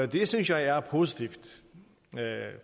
det synes jeg er positivt